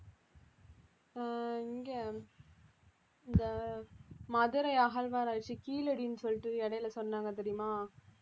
ஆஹ் இங்க இந்த மதுரை அகழ்வாராய்ச்சி கீழடின்னு சொல்லிட்டு இடையில சொன்னாங்க தெரியுமா